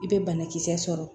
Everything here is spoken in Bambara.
I bɛ banakisɛ sɔrɔ